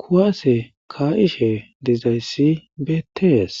kuwaase kaa7ishe dizayssi betees